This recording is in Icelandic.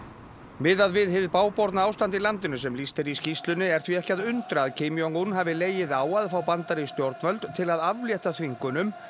miðað við hið bágborna ástand í landinu sem lýst er í skýrslunni er því ekki að undra að Kim Jong un hafi legið á að fá bandarísk stjórnvöld til að aflétta þvingunum